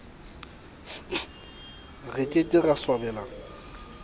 re ke ke ra swabela